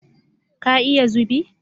Ka iya zubi?